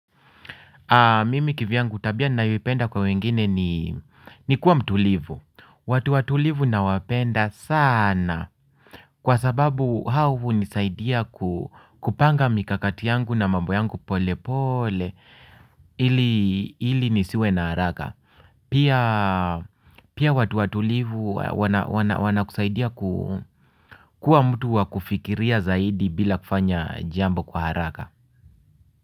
Mimi kivyangu tabia ninayoipenda kwa wengine ni kuwa mtulivu. Watu watulivu na wapenda sana. Kwa sababu hao hunisaidia kupanga mikakati yangu na mambo yangu pole pole. Ili nisiwe na haraka. Pia watu watulivu wana kusaidia kuwa mtu wakufikiria zaidi bila kufanya jambo kwa haraka.